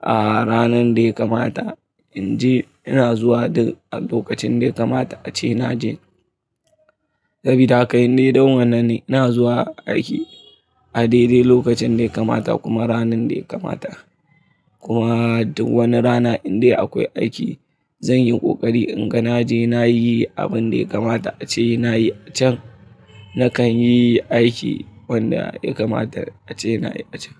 a ranan da ya kamata. In je ina zuwa duk a lokacin da ya kamata ace na je. Sabida haka dai dan wannan ne. Ina zuwa aiki a daidai lokacin da ya kamata kuma ranan da ya kamata. Kuma duk wani rana in dai akwai aiki zan yi ƙoƙari inga na je na yi abun da ya kamata ace nayi acan. Nakan yi aiki wanda ya kamata ace nayi acan.